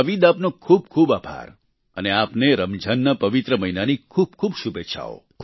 નાવીદ આપનો ખૂબ ખૂબ આભાર અને આપને રમજાનના પવિત્ર મહિનાની ખૂબખૂબ શુભેચ્છાઓ